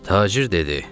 Tacir dedi: